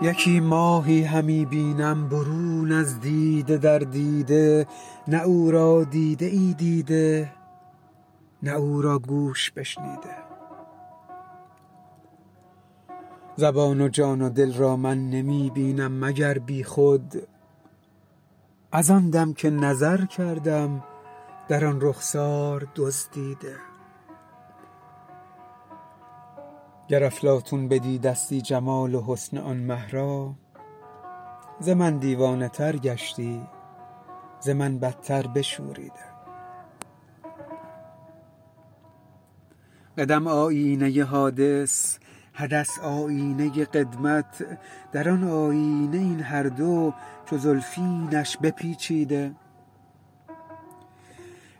یکی ماهی همی بینم برون از دیده در دیده نه او را دیده ای دیده نه او را گوش بشنیده زبان و جان و دل را من نمی بینم مگر بیخود از آن دم که نظر کردم در آن رخسار دزدیده گر افلاطون بدیدستی جمال و حسن آن مه را ز من دیوانه تر گشتی ز من بتر بشوریده قدم آیینه حادث حدث آیینه قدمت در آن آیینه این هر دو چو زلفینش بپیچیده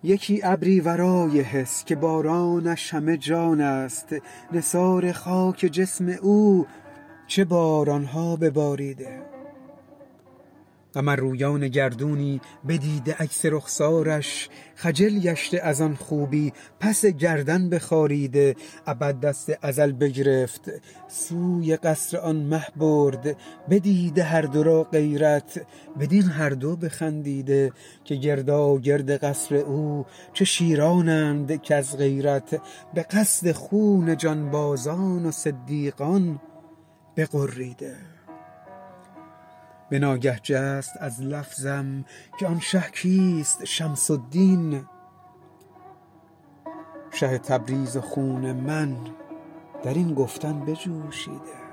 یکی ابری ورای حس که بارانش همه جان است نثار خاک جسم او چه باران ها بباریده قمررویان گردونی بدیده عکس رخسارش خجل گشته از آن خوبی پس گردن بخاریده ابد دست ازل بگرفت سوی قصر آن مه برد بدیده هر دو را غیرت بدین هر دو بخندیده که گرداگرد قصر او چه شیرانند کز غیرت به قصد خون جانبازان و صدیقان بغریده به ناگه جست از لفظم که آن شه کیست شمس الدین شه تبریز و خون من در این گفتن بجوشیده